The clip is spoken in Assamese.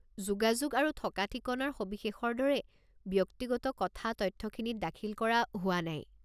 যোগাযোগ আৰু থকা ঠিকনাৰ সবিশেষৰ দৰে ব্যক্তিগত কথা তথ্যখিনিত দাখিল কৰা হোৱা নাই।